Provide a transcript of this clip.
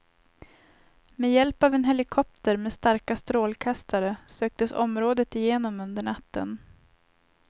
Med hjälp av en helikopter med starka strålkastare söktes området igenom under natten.